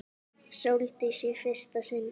Sóldísi í fyrsta sinn.